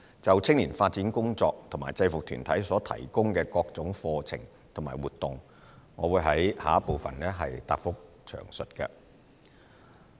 就青年發展工作和制服團體所提供的各種課程和活動，我會在主體答覆的第二部分詳述。